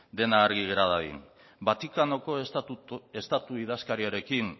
dena argi gera dadin vatikanoko estatu idazkariarekin